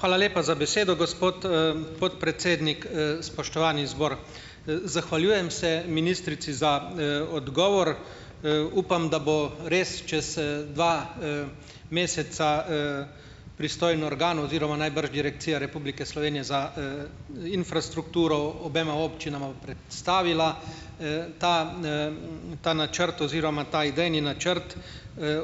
Hvala lepa za besedo, gospod, podpredsednik. Spoštovani zbor! Zahvaljujem se ministrici za, odgovor. Upam, da bo res čez, dva, meseca, pristojni organ oziroma najbrž Direkcija Republike Slovenije za, infrastrukturo obema občinama predstavila, ta, ta načrt oziroma ta idejni načrt,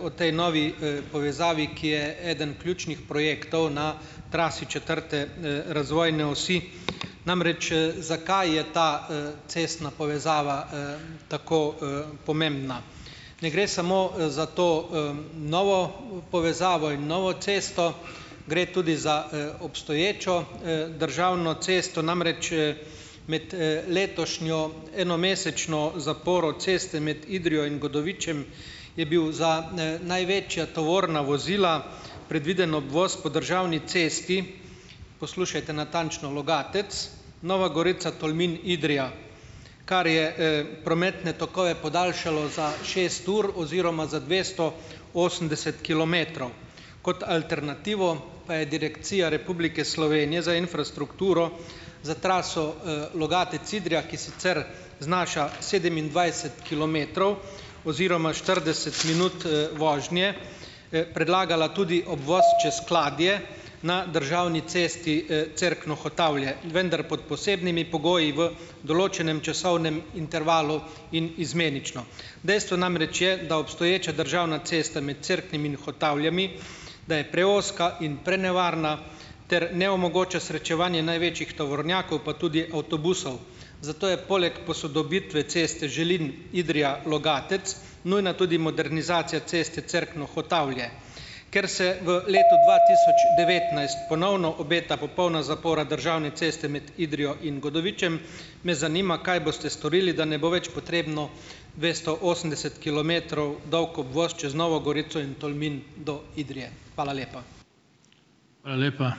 o tej novi, povezavi, ki je eden ključnih projektov na trasi četrte, razvojne osi. Namreč, zakaj je ta, cestna povezava, tako, pomembna? Ne gre samo, za to, novo povezavo in novo cesto, gre tudi za, obstoječo, državno cesto, namreč, med, letošnjo enomesečno zaporo ceste med Idrijo in Godovičem je bil za, največja tovorna vozila predviden obvoz po državni cesti, Poslušajte natančno, Logatec, Nova Gorica, Tolmin, Idrija, kar je, prometne tokove podaljšalo za šest ur oziroma za dvesto osemdeset kilometrov. Kot alternativo pa je Direkcija Republike Slovenije za infrastrukturo za traso, Logatec-Idrija, ki sicer znaša sedemindvajset kilometrov oziroma štirideset minut, vožnje, predlagala tudi obvoz čez Kladje na državni cesti, Cerkno-Hotavlje, vendar pod posebnimi pogoji v določenem časovnem intervalu in izmenično. Dejstvo namreč je, da obstoječa državna cesta med Cerknim in Hotavljami, da je preozka in prenevarna ter ne omogoča srečevanje največjih tovornjakov, pa tudi avtobusov, zato je poleg posodobitve ceste Želin-Idrija-Logatec nujna tudi modernizacija ceste Cerkno-Hotavlje. Ker se v letu dva tisoč devetnajst ponovno obeta popolna zapora državne ceste med Idrijo in Godovičem, me zanima, kaj boste storili, da ne bo več potrebno dvesto osemdeset kilometrov dolg obvoz čez Novo Gorico in Tolmin do Idrije. Hvala lepa.